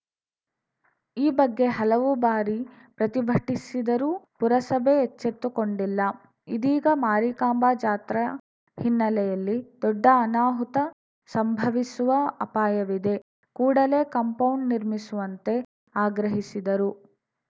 ಈ ಬಗ್ಗೆ ಹಲವು ಬಾರಿ ಪ್ರತಿಭಟಿಸಿದರೂ ಪುರಸಭೆ ಎಚ್ಚೆತ್ತುಕೊಂಡಿಲ್ಲ ಇದೀಗ ಮಾರಿಕಾಂಬಾ ಜಾತ್ರಾ ಹಿನ್ನೆಲೆಯಲ್ಲಿ ದೊಡ್ಡ ಅನಾಹುತ ಸಂಭವಿಸುವ ಅಪಾಯವಿದೆ ಕೂಡಲೇ ಕಾಂಪೌಂಡ್‌ ನಿರ್ಮಿಸುವಂತೆ ಆಗ್ರಹಿಸಿದರು